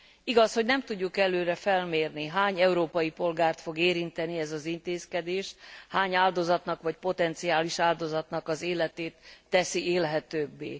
Igaz, hogy nem tudjuk előre felmérni, hány európai polgárt fog érinteni ez az intézkedés, hány áldozatnak vagy potenciális áldozatnak az életét teszi élhetőbbé.